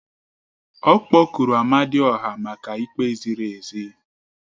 Ọ kpọkuru Amadioha maka ikpe ziri ezi